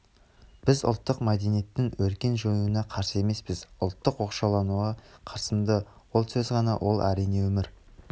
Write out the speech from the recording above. біз ұлттық мәдениеттң өркен жаюына қарсы емеспіз ұлттық оқшаулануға қарсымыз ол сөз ғана ол әрине өмір